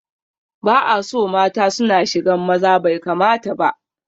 Ba'aso mata suna shigan maza, bai kamata ba